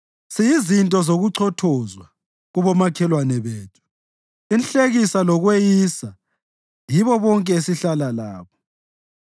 Siyizinto zokuchothozwa kubomakhelwane bethu, inhlekisa lokweyiswa yibo bonke esihlala labo.